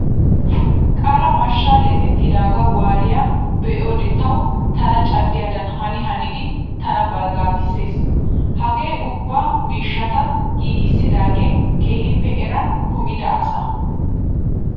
Qara mashshaa leefetidaagaa walliyaa be'iyoode tawu tana caddiyaadan hani hanidi tana barggaagisses. Hagaa ubba miishshata giigissidaage keehiippe eran kumida asa.